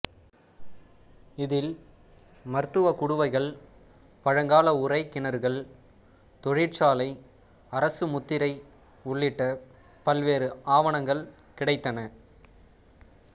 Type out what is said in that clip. இதில் மருத்துவ குடுவைகள் பழங்கால உறை கிணறுகள் தொழிற்சாலை அரசு முத்திரை உள்ளிட்ட பல்வேறு ஆவணங்கள் கிடைத்தன